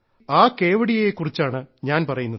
ആ കേവഡിയയെ കുറിച്ചാണ് ഞാൻ പറയുന്നത്